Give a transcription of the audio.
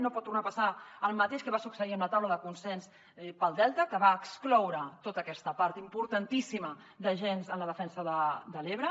no pot tornar a passar el mateix que va succeir amb la taula de consens per al delta que va excloure tota aquesta part importantíssima d’agents en la defensa de l’ebre